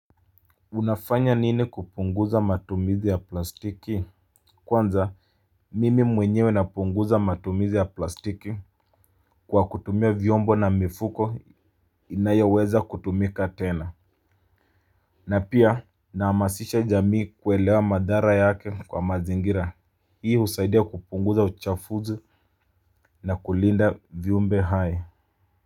Unafanya nini kupunguza matumizi ya plastiki? Kwanza mimi mwenyewe napunguza matumizi ya plastiki kwa kutumia vyombo na mifuko inayoweza kutumika tena. Na pia nahamasisha jamii kuelewa madhara yake kwa mazingira. Na pia nahamasisha jamii kuelewa madhara yake kwa mazingira. Na kulinda viumbe hai.